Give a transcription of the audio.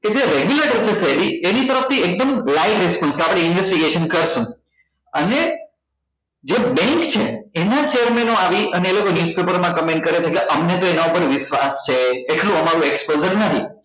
કે જે regular છે એની તરફ એકદમ live response કે આપડે investigation કરશું અને જે bank છે એના chair man ઓ આવી ને માં comment છે એટલે અમને તો એના પર વિશ્વાસ છે એટલું અમારું exposure નહી